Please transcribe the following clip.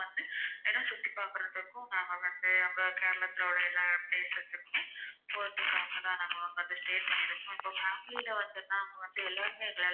Family ல ஒருத்தர் னா அவங்க எல்லாத்துக்குமே எங்களால.